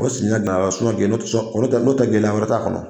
O n'o tɛ gɛlɛya wɛrɛ t'a kɔnɔ